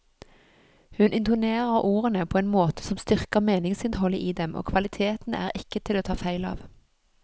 Hun intonerer ordene på en måte som styrker meningsinnholdet i dem, og kvaliteten er ikke til å ta feil av.